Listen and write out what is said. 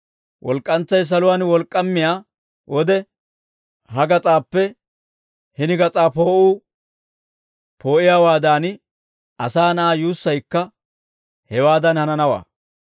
Walk'k'antsay saluwaan wolk'k'aamiyaa wode, ha gas'aappe hini gas'aa poo'uu poo'iyaawaadan, asaa na'aa yuussaykka hewaadan hananawaa.